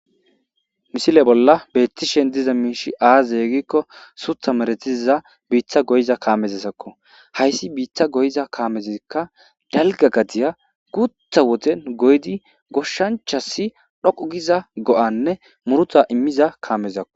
Misile bolla beettishen diza miishi aazzee gikko suutha maretiza biitta goyiza kaamezasakko. Hayssi biitta goyiza kaamezikka dalga gadiya gutha wodiyan goyyidi ,goshshanchasi tsoggu giza go'anne murta immiza kaamezakko.